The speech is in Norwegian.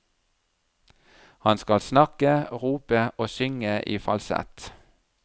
Han skal snakke, rope og synge i falsett.